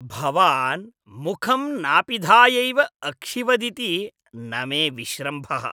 भवान् मुखं नापिधायैव अक्षिवदिति न मे विश्रम्भः।